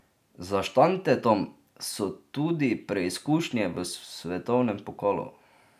Za Štantetom so tudi preizkušnje v svetovnem pokalu.